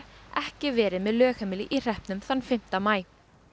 ekki verið með lögheimili í hreppnum þann fimmta maí